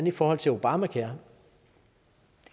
i forhold til obamacare